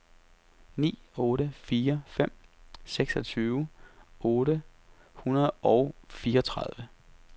ni otte fire fem seksogtyve otte hundrede og fireogtredive